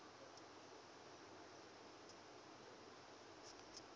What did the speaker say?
pop music singers